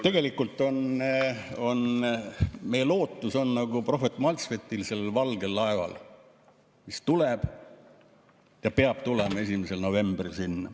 Tegelikult on meie lootus nagu prohvet Maltsvetil valgel laeval, mis tuleb, peab tulema 1. novembril.